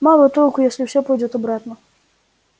мало толку если всё пойдёт обратно